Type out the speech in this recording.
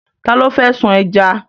Ta ló fẹ́ sun ẹja?